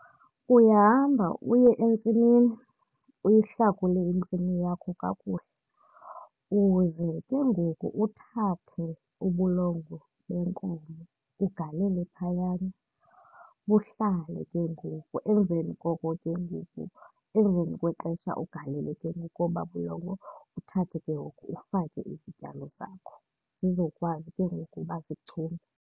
Uyahamba uye entsimini uyihlakule intsimi yakho kakuhle, uze ke ngoku uthathe ubulongwe beenkomo ugalele phayana buhlale ke ngoku. Emveni koko ke ngoku, emveni kwexesha ugalele ke ngoku obaa bulongwe. Uthathe ke ngoku ufake izityalo zakho zizokwazi ke ngoku uba zichume.